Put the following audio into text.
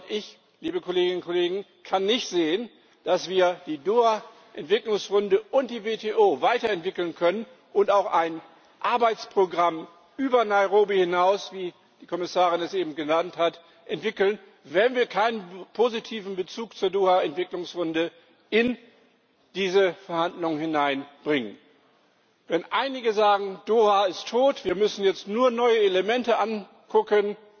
Ich kann nicht sehen, dass wir die Doha Entwicklungsrunde und die WTO weiterentwickeln können und auch ein Arbeitsprogramm über Nairobi hinaus, wie die Kommissarin es eben genannt hat, entwickeln, wenn wir keinen positiven Bezug zur Doha Entwicklungsrunde in diese Verhandlungen hineinbringen. Wenn einige sagen Doha ist tot, wir müssen jetzt nur neue Elemente angucken